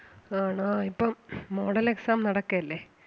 ആണോ ഇപ്പം model exam നടക്കയല്ലേ?